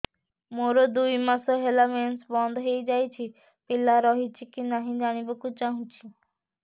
ମୋର ଦୁଇ ମାସ ହେଲା ମେନ୍ସ ବନ୍ଦ ହେଇ ଯାଇଛି ପିଲା ରହିଛି କି ନାହିଁ ଜାଣିବା କୁ ଚାହୁଁଛି